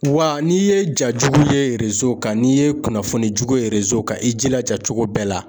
Wa n'i ye ja jugu ye kan n'i ye kunnafoni jugu ye kan i jilaja cogo bɛɛ la